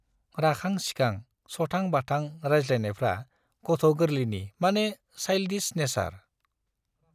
राखां सिखां, सथां बाथां रायज्लायनायफ्रा गथ गोर्लैनि माने साइल्डिस नेचार।